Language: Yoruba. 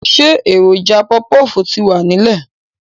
Ṣé èròjà pọfpọf ti wà nílẹ̀